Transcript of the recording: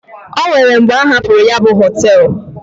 O nwere mgbe a hapụrụ ya bụ họtel.